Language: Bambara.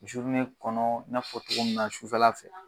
kɔnɔ i n'a fɔ cogo min na sufɛla fɛ.